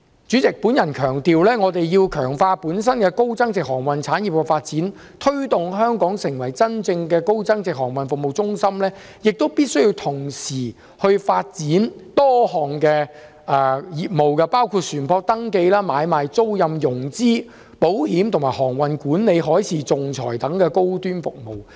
主席，我想強調，我們必須強化本地高增值航運產業的發展，推動香港成為真正高增值航運服務中心，也必須同時發展多項業務，包括船舶登記、買賣、租賃、融資、保險，以及航運管理、海事仲裁等高端服務。